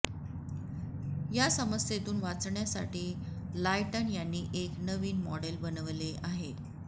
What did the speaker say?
या समस्येतून वाचण्यासाठी लायटन यांनी एक नवीन मॉडेल बनवले आहे